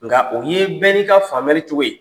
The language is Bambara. Nka o ye bɛn n'i ka fari cogo ye.